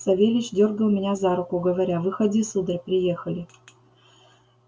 савельич дёргал меня за руку говоря выходи сударь приехали